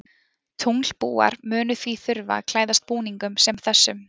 Tunglbúar munu því þurfa að klæðast búningum sem þessum.